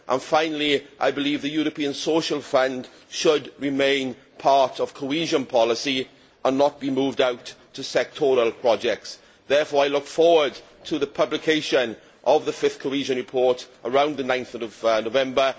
Finally, I believe the European Social Fund should remain part of cohesion policy and not be moved out to sectoral projects. I look forward to the publication of the fifth Cohesion Report, around 9 November.